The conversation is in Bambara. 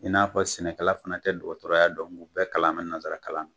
I n'a fɔ sɛnɛkala fana tɛ dɔgɔtɔrɔya dɔn nk'u bɛɛ kalan mɛ nansara kan na.